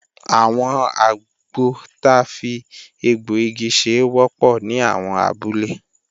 Àwọn àgbọ ta fi egbọ̀-igi ṣe wọ́pọ̀ ní àwọn abúlé